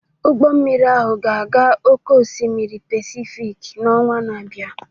Ụgbọ mmiri ahụ ga-aga oke osimiri Pasifik n'ọnwa na-abịa